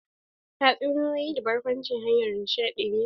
Tatsunitoyi da barkwanci hanyar nishadi ne.